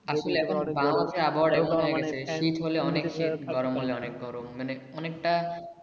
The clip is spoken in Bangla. শীত হলে অনেক শীত গরম হলে অনেক গরম মানে অনেকটা